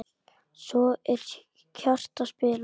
Svo er hjarta spilað.